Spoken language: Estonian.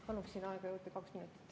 Paluksin aega juurde kaks minutit.